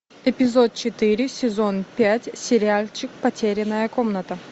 эпизод четыре сезон пять сериальчик потерянная комната